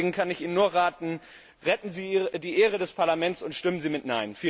Deswegen kann ich Ihnen nur raten Retten Sie die Ehre des Parlaments und stimmen Sie mit